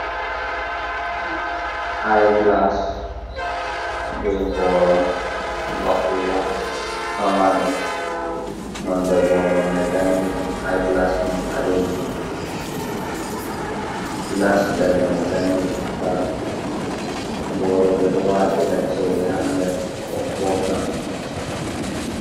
Ai glas be boro vakugo pamarum non de boro mai ɗanejum, iglas mai ɓalejum glas nder mai ɗanejum tal, boro ɓeɗo watira chede ha nder ko posa.